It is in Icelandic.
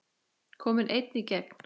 Kominn einn í gegn?